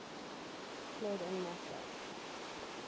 fled en masse